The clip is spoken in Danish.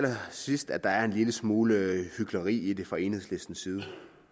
synes at der er en lille smule hykleri i det fra enhedslistens side